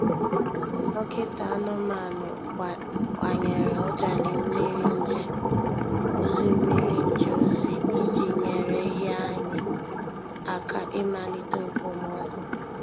Dọkịta anụmanụ gbanyere ọjalị mmiri nje ozi mmiri nje ozi iji nyere ehi anyị aka imalite okpomọkụ.